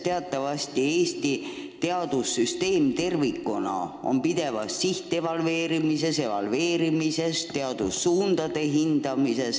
Teatavasti on Eesti teadussüsteem tervikuna pideva sihtevalveerimise all, hinnatakse meie teadustöö suundasid.